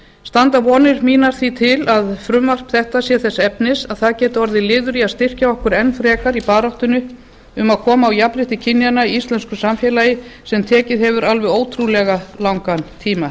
standa vonir mína því til að frumvarp þetta sé þess efnis að það geti orðið liður í að styrkja okkur enn frekar í baráttunni um að koma á jafnrétti kynjanna í íslensku samfélagi sem tekið hefur alveg ótrúlega langan tíma